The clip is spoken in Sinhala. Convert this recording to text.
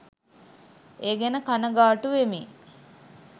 ඒ ගැන කණගාටුවෙමි.